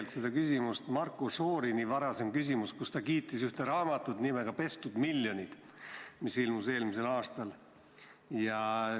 Mind ajendab küsima Marko Šorini küsimus, kus ta kiitis raamatut nimega "Pestud miljonid", mis ilmus eelmisel aastal.